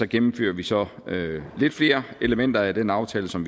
gennemfører vi så lidt flere elementer af den aftale som